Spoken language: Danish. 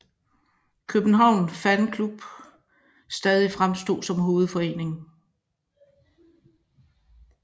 København Fan Club stadig fremstod som hovedforeningen